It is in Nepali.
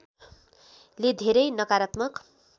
ले धेरै नकारात्मक